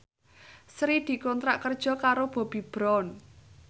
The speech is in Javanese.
Sri dikontrak kerja karo Bobbi Brown